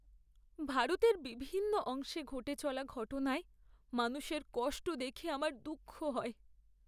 ভারতের বিভিন্ন অংশে ঘটে চলা ঘটনায় মানুষের কষ্ট দেখে আমার দুঃখ হয়।